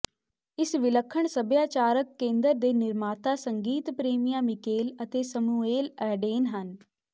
ਇਸ ਵਿਲੱਖਣ ਸਭਿਆਚਾਰਕ ਕੇਂਦਰ ਦੇ ਨਿਰਮਾਤਾ ਸੰਗੀਤ ਪ੍ਰੇਮੀਆਂ ਮਿਕੇਲ ਅਤੇ ਸਮੂਏਲ ਐਡੇਨ ਹਨ